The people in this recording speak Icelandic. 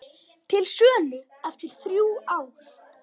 Til sölu eftir þrjú ár